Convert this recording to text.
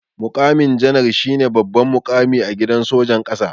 Muƙamin janar shine babban muƙami a gidan sojan ƙasa.